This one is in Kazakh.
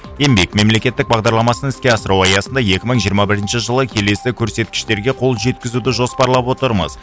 еңбек мемлекеттік бағдарламасын іске асыру аясында екі мың жиырма бірінші жылы келесі көрсеткіштерге қол жеткізуді жоспарлап отырмыз